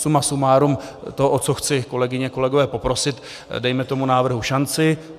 Suma sumárum to, o co chci, kolegyně, kolegové, poprosit - dejme tomu návrhu šanci.